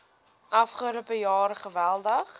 afgelope jaar geweldig